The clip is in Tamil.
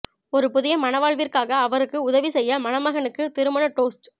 ஒரு புதிய மணவாழ்விற்காக அவருக்கு உதவி செய்ய மணமகனுக்கு திருமண டோஸ்ட்ஸ்